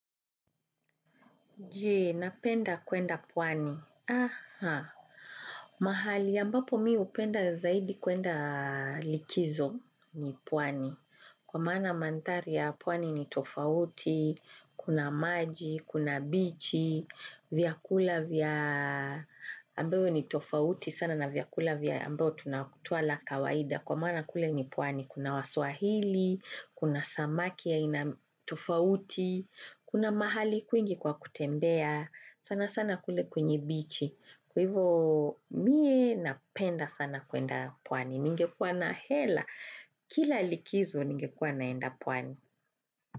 Je, napenda kwenda pwani. Aha. Mahali ambapo mimi upenda zaidi kwenda likizo ni pwani. Kwamaana mandhari ya pwani ni tofauti, kuna maji, kuna bichi, vyakula ambavyo ni tofauti sana na vyakula ambavyo twala kawaida. Kwa mana kule ni pwani, kuna waswahili, kuna samaki aina tofauti, kuna mahali kwingi kwa kutembea, sana sana kule kwenye bichi, kwahivo mie napenda sana kwenda pwani, ningekuwa na hela, kila likizo ningekuwa naenda pwani.